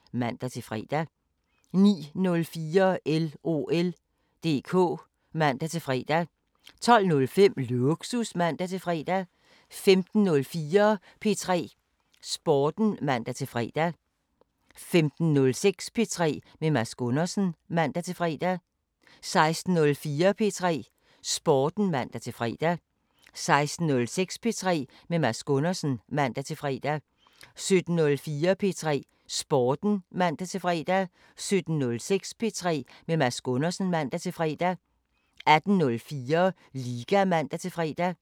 15:05: Winthertid (man-fre) 16:05: 55 minutter (man-tor) 17:05: Rifbjergs Liste (man-tor) 18:05: AK 24syv (man-tor) 19:05: AK 24syv, fortsat (man-tor) 20:05: Efter Otte (man-fre) 21:05: Fodbold FM 22:05: Fodbold FM, fortsat 23:05: Datolinjen (man-tor) 03:05: Nimzowitsch (man-fre)